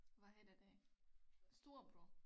Hvad hedder det storebror